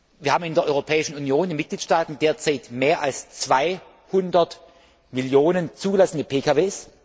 Wir haben in der Europäischen Union, in den Mitgliedstaaten derzeit mehr als 200 Millionen zugelassene PKW.